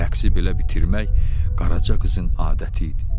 Rəqsi belə bitirmək qaraca qızın adəti idi.